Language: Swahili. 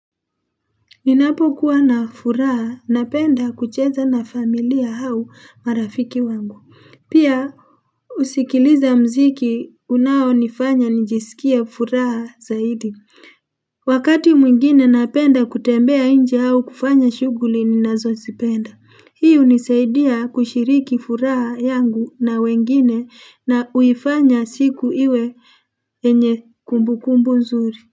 Ninapokuwa na furaha, napenda kucheza na familia hau marafiki wangu. Pia, husikiliza mziki. Unaonifanya nijisikie furaha zaidi. Wakati mwingine napenda kutembea nje au kufanya shughuli ninazozipenda. Hii hunisaidia kushiriki furaha yangu na wengine, na huifanya siku iwe yenye kumbukumbu nzuri.